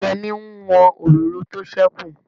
Yẹ́mi n wọn òróró tó sẹ́kù